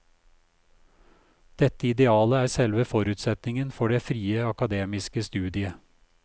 Dette idealet er selve forutsetningen for det frie akademiske studiet.